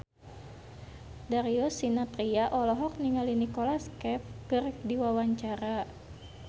Darius Sinathrya olohok ningali Nicholas Cafe keur diwawancara